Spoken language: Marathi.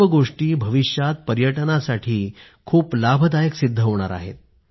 या सर्व गोष्टी भविष्यात पर्यटनासाठी खूप लाभदायक सिद्ध होणार आहेत